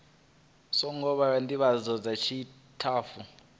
songo vhewa ndivhadzo dza tshitafu